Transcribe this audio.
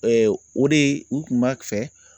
o de u kun b'a fɛ